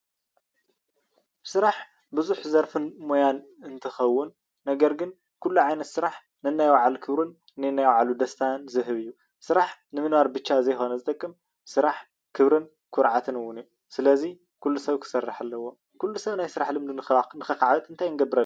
ስራሕ ብዙሕ ዘርፍን ሞያን እንትኸውን ነገር ግን ኩሉ ዓይነት ስራሕ ነናይ ባዕሉ ክብርን ነናይ ባዕሉ ደስታን ዝህብ እዩ፡፡ ስራሕ ንምንባር ብቻ ዘይኾነ ዝጠቅም ስራሕ ክብርን ኩርዓትን እውን እዩ፡፡ ስለዚ ኩሉ ሰብ ክሳርሕ ኣለዎ፡፡ ኩሉ ሰብ ናይ ስራሕ ልምዲ ንከካዕብት እንታይ ክንገብር ኣለና?